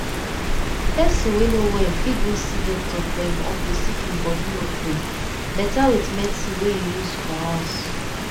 person wey no well fit go see doctor for i'm office if im body no free better with medicine wey you use for house